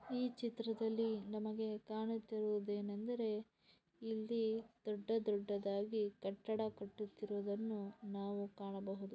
ಈ ಚಿತ್ರದಲ್ಲಿ ನಮಗೆ ಕಾಣುತ್ತಾ ಇರುವುದು ಏನೆಂದರೆ ಇಲ್ಲಿ ದೊಡ್ಡ ದೊಡ್ಡದಾಗಿ ಕಟ್ಟಡ ಕಟ್ಟುತಿರುವುದನ್ನು ನಾವು ಕಾಣಬಹುದು.